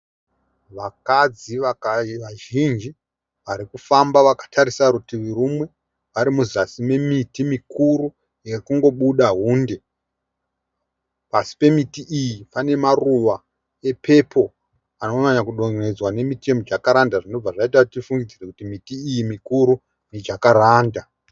Vakadzi vazhinji vari kufamba vakatarisa rutivi rumwe vari muzasi memiti mikuru yekungo buda hunde. Pasi pemiti iyi pane maruva epepo anonyanya kudonhedzwa nemiti yemujakaranda, zvinobva zvaita kuti tifunge kuti miti iyi mikuru mijakaranda.